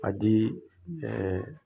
A di ɛɛ